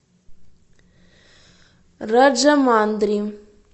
раджамандри